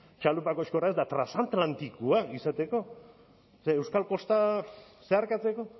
txalupako eta transatlantikoak izateko eta euskal kosta zeharkatzeko